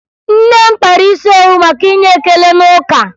Nne m kpara isi owu maka inye ekele n'ụka